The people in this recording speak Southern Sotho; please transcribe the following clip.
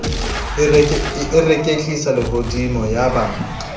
e reketlisa lehodimo ya ba